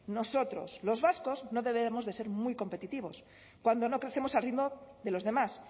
nosotros los vascos no deberemos de ser muy competitivos cuando no crecemos al ritmo de los demás